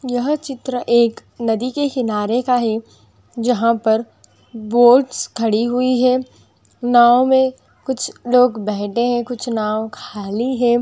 यह चित्र एक नदी के किनारे का है जहां पर बोट्स खड़ी हुई हैं नाव में कुछ लोग बैठ गए हैं कुछ नाव खाली है।